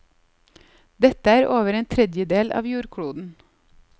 Dette er over en tredjedel av jordkloden.